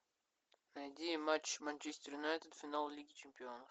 найди матч манчестер юнайтед финал лиги чемпионов